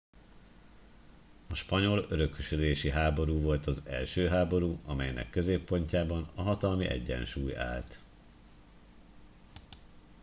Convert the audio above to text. a spanyol örökösödési háború volt az első háború amelynek középpontjában a hatalmi egyensúly állt